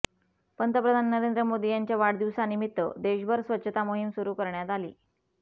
पंतप्रधान नरेंद्र मोदी यांच्या वाढदिवसानिमित्त देशभर स्वच्छता मोहीम सुरू करण्यात आली